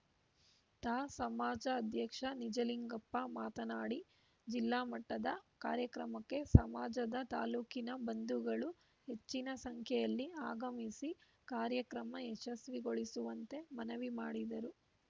ತಾ ಸಮಾಜ ಅಧ್ಯಕ್ಷ ನಿಜಲಿಂಗಪ್ಪ ಮಾತನಾಡಿ ಜಿಲ್ಲಾ ಮಟ್ಟದ ಕಾರ್ಯಕ್ರಮಕ್ಕೆ ಸಮಾಜದ ತಾಲೂಕಿನ ಬಂಧುಗಳು ಹೆಚ್ಚಿನ ಸಂಖ್ಯೆಯಲ್ಲಿ ಆಗಮಿಸಿ ಕಾರ್ಯಕ್ರಮ ಯಶಸ್ವಿಗೊಳಿಸುವಂತೆ ಮನವಿ ಮಾಡಿದರು